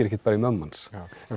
ekkert í mömmu hans en